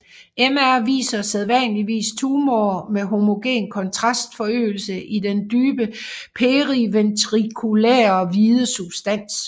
MR viser sædvanligvis tumorer med homogen kontrastforøgelse i den dybe periventrikulære hvide substans